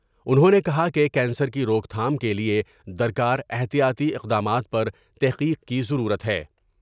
انہوں نے کہا کہ کینسر کی روک تھام کے لیے درکا راحتیاطی اقدمات پرتحقیق کی ضرورت ہے۔